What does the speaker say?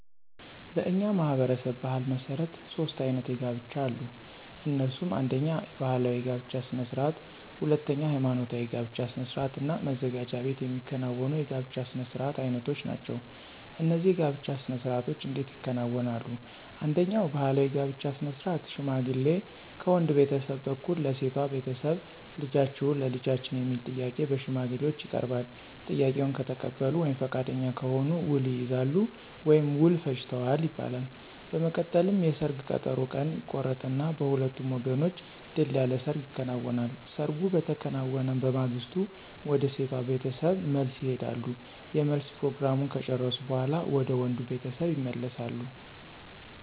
በእኛ ማህበረሰብ ባሕል መሠረት ሦስት አይነት የጋብቻ አሉ። እነሱም አነደኛ ባህላዊ የጋብቻ ስነ ስርዓት፣ ሁለተኛ ሐይማኖታዊ የጋብቻ ስነ ስርዓት እና መዘጋጃ ቤት የሚከናወኑ የጋብቻ ስነ ስርዓት አይነቶች ናቸው። እነዚህ የጋብቻ ስነ ስርዓቶች እንዴት ይከናወናሉ፣ አንደኛው ባህላዊ የጋብቻ ስነ ስርዓት ሽማግሌ ከወንድ ቤተሰብ በኩል ለሴቷ ቤተሰብ ልጃችሁን ለልጃችን የሚል ጥያቄ በሽማግሌዎች ይቀርባል፤ ጥያቄውን ከተቀበሉ ወይም ፈቃደኛ ከሆኑ ውል ይይዛሉ ወይም ውል ፈጅተዋል ይባላል። በመቀጠልም የሰርግ ቀጠሮ ቀን ይቆረጥና በሁለቱም ወገኖች ድል ያለ ሰርግ ይከናወናል። ሰርጉ በተከናወነ በማግስቱ ወደ ሴቷ ቤተሰብ መልስ ይሄዳሉ የመልስ ፕሮግራሙን ከጨረሱ በኋላ ወደ ወንዱ ቤተሰብ ይመለሳሉ።